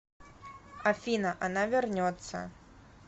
афина она вернется